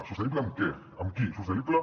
sostenible en què amb qui sostenible